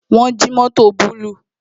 Wọn jí mótò búlúù